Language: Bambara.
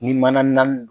Ni mana naani